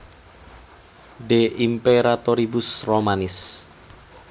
De Imperatoribus Romanis